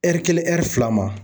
kelen fila ma.